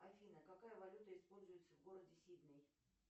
афина какая валюта используется в городе сидней